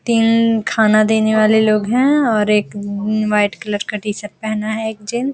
तीन खाना देने वाले लोग हैं और एक उम वाइट कलर का टी-शर्ट पहना है एक जेंटस ।